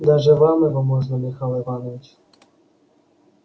даже вам его можно михаил иванович